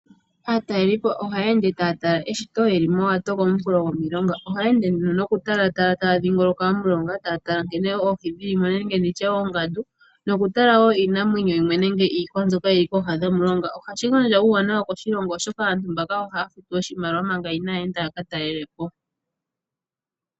Aatalelipo ohaya ende taya tala eshito yeli mowato komunkulo gomulonga ohaya ende nokutalatala omulonga taya dhingoloka taya tala nkene oohi dhili mo nenge nditye oongandu noku tala wo iinamwenyo yimwe nenge iihwa mbyoka yili kooha dhomulonga, ohashi gandja uuwanawa koshilongo, oshoka aantu mbaka ohaya futu oshimaliwa manga inaayethwa yakatalelepo.